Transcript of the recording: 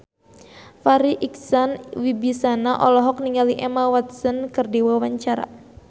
Farri Icksan Wibisana olohok ningali Emma Watson keur diwawancara